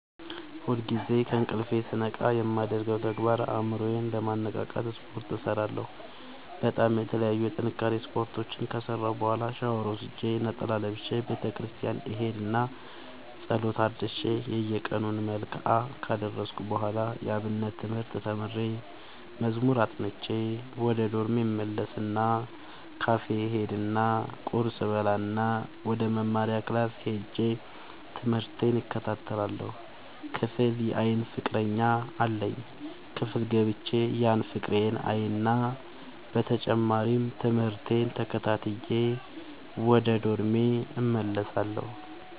ሁልጊዜ ከእንቅልፎ ስነቃ የማደርገው ተግባር አእምሮ ዬን ለማነቃቃት ስፓርት እሰራለሁ በጣም የተለያዩ የጥንካሬ ስፓርቶችን ከሰራሁ በኋላ ሻውር ወስጄ ነጠላ ለብሼ ቤተክርስቲያን እሄድ እና ፀሎት አድርሼ የየቀኑን መልክአ ካደረስኩ በኋላ የአብነት ትምህርት ተምሬ መዝሙር አጥንቼ ወደ ዶርሜ እመለስ እና ካፌ እሄድ እና ቁርስ እበላእና ወደመማሪያክላስ ሄጄ ትምህቴን እከታተላለሁ። ክፍል የአይን ፍቀረኛ አለኝ ክፍል ገብቼ ያን ፍቅሬን አይና በተጨማሪም ትምህርቴን ተከታትዬ ወደ ዶርሜ እመለሳለሁ።